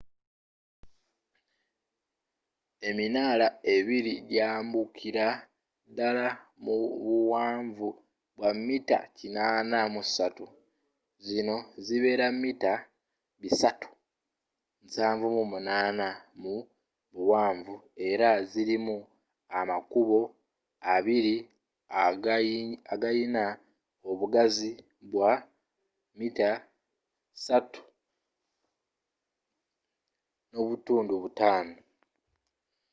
eminaala ebiri gyambukira ddala mu buwanvu bwa mita 83 zino zibeera mita 378 mu buwanvu era zirimu amakubo abiri agayina obugazi bwa 3.50 m